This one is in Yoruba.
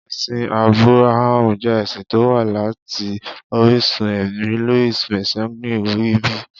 Ẹ̀sìn Ábúráhámù jẹ́ ẹ̀sìn tó wá láti orísun ẹ̀mí, Louis Massignon wí bẹ́ẹ̀.